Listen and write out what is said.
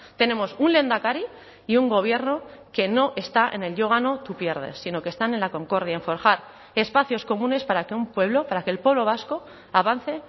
tenemos un lehendakari y un gobierno que no está en el yo gano tu pierdes sino que están en la concordia en forjar espacios comunes para que un pueblo para que el pueblo vasco avance